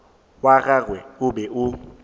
wa gagwe o be o